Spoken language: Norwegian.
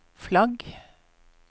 flagg